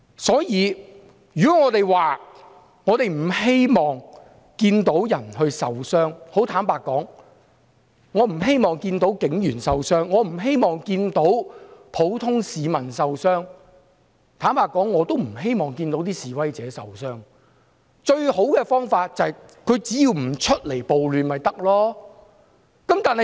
所以，如果我們說不希望看到有人受傷——坦白說，我不希望看到警員和普通市民受傷，也不希望看到示威者受傷——最好的方法不是別的，只要他們不出來參與暴亂就可以了。